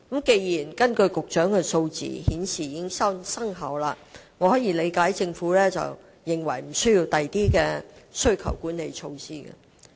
從局長所述的數字可見，此措施具成效，我能理解政府為何認為無須推出其他需求管理措施。